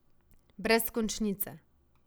Brez končnice.